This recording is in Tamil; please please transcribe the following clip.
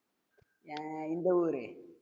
அஹ் இந்த ஊரு